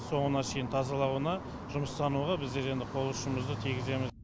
соңына шейін тазалануына жұмыстануға біздер енді қол ұшымызды тигіземіз